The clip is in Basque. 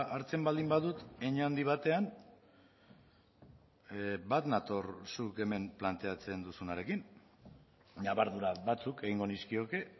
hartzen baldin badut hein handi batean bat nator zuk hemen planteatzen duzunarekin ñabardura batzuk egingo nizkioke